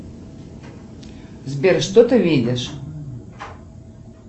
сбер что ты видишь